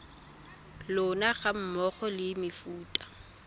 lona ga mmogo le mefuta